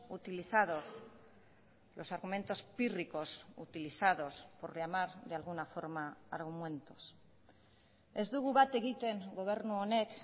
utilizados los argumentos pírricos utilizados por llamar de alguna forma argumentos ez dugu bat egiten gobernu honek